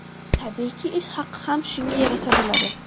Tabiiyki, ish haqi ham shunga yarasha bo‘ladi.